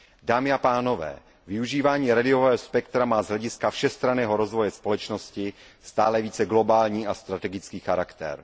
Dámy a pánové, využívání rádiového spektra má z hlediska všestranného rozvoje společnosti stále více globální a strategický charakter.